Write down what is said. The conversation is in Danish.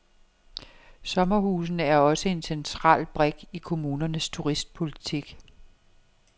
Sommerhusene er også en central brik i kommunernes turistpolitik.